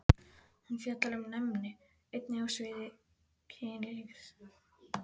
Hún fjallar um næmni, einnig á sviði kynlífs.